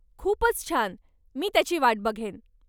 खूपच छान. मी त्याची वाट बघेन.